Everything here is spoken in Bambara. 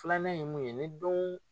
Filanan ye mun ye ni don